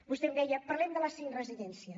vostè em deia parlem de les cinc residències